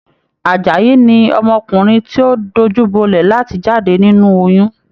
Àjàyí ni ọmọkùnrin ti o dojubolẹ láti jáde nínú oyún.